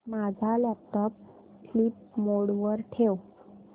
माझा laptop sleep mode वर ठेव